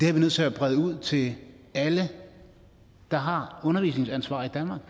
er nødt til at brede det ud til alle der har undervisningsansvar i danmark